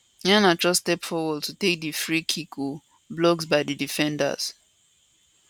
iheanacho step forward to take di free kick ohhh blocked by di defenders